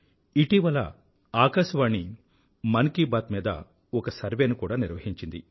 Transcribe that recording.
ఇటీవల ఆకాశవాణి మన్ కీ బాత్ మీద ఒక సర్వే ను కూడా నిర్వహించింది